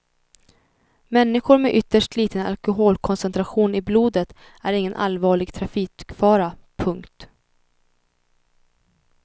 Människor med ytterst liten alkoholkoncentration i blodet är ingen allvarlig trafikfara. punkt